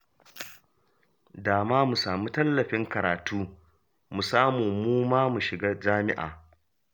Da ma mu samu tallafin karatu, mu samu mu ma mu shiga jami'a